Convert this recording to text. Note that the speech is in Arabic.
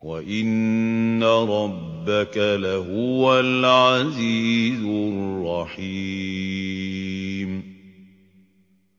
وَإِنَّ رَبَّكَ لَهُوَ الْعَزِيزُ الرَّحِيمُ